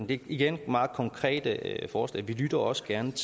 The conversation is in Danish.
det er igen meget konkrete forslag vi lytter også gerne